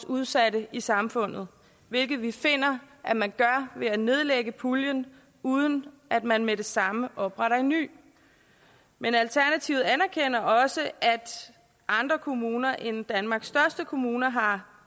udsatte i samfundet hvilket vi finder at man gør ved at nedlægge puljen uden at man med det samme opretter en ny men alternativet anerkender også at andre kommuner end danmarks største kommuner har